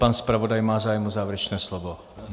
Pan zpravodaj má závěr o závěrečné slovo?